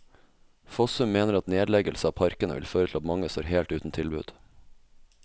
Fossum mener at nedleggelse av parkene vil føre til at mange står helt uten tilbud.